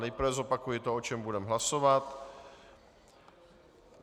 Nejprve zopakuji to, o čem budeme hlasovat.